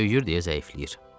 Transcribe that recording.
Böyüyür deyə zəifləyir.